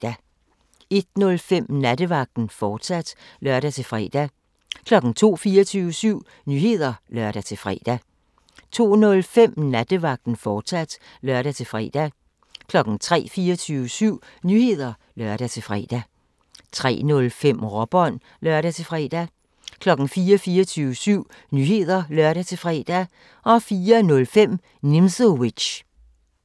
01:05: Nattevagten, fortsat (lør-fre) 02:00: 24syv Nyheder (lør-fre) 02:05: Nattevagten, fortsat (lør-fre) 03:00: 24syv Nyheder (lør-fre) 03:05: Råbånd (lør-fre) 04:00: 24syv Nyheder (lør-fre) 04:05: Nimzowitsch